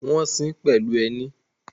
Wọ́n ṣín pẹ̀lú ẹní